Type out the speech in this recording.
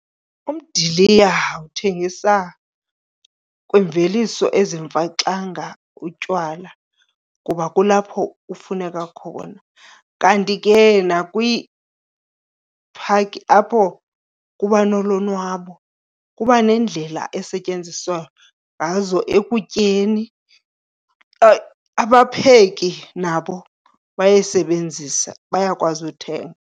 Umdiliya uthengisa kwimveliso ezimfaxanga utywala kuba kulapho ufuneka khona. Kanti ke nakwii-park apho kuba nolonwabo kuba neendlela esetyenziswa ngazo ekutyeni. Abapheki nabo bayayisebenzisa, bayakwazi uthenga.